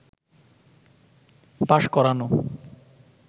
pass করানো